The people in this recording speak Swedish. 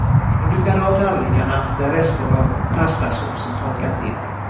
Hon dukade av tallrikarna där rester av pastasåsen torkat in.